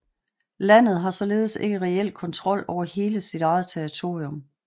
Landet har således ikke reelt kontrol over hele sit eget territorium